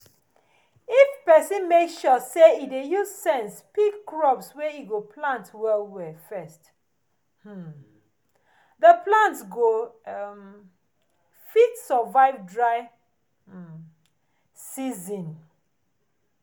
if pesin make sure say e use sense pick crops wey e go plant well well first um di plant go um fit survive dry um season